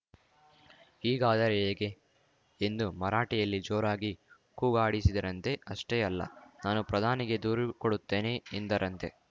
ಹೀಗಾದರೆ ಹೇಗೆ ಎಂದು ಮರಾಠಿಯಲ್ಲಿ ಜೋರಾಗಿ ಕೂಗಾಡಿಸಿದರಂತೆ ಅಷ್ಟೇ ಅಲ್ಲ ನಾನು ಪ್ರಧಾನಿಗೆ ದೂರು ಕೊಡುತ್ತೇನೆ ಎಂದರಂತೆ